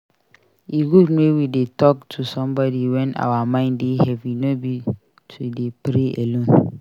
E good make we dey talk to somebody wen our mind dey heavy no be to dey pray alone.